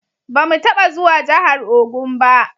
Ba mu taba zuwa jahar Ogun ba